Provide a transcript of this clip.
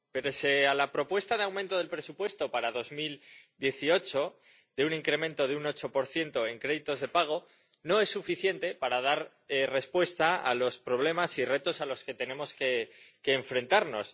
Pese a la propuesta de aumento del presupuesto para 2018, un incremento de un 8 en créditos de pago no es suficiente para dar respuesta a los problemas y retos a los que tenemos que enfrentarnos.